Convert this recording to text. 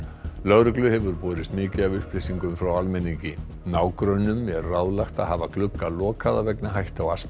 lögreglu hefur borist mikið af upplýsingum frá almenningi nágrönnum er ráðlagt að hafa glugga lokaða vegna hættu á